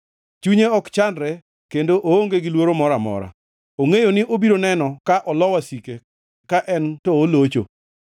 Chunye ok chandre kendo oonge gi luoro moro amora; ongʼeyo ni obiro neno ka olo wasike ka en to olocho.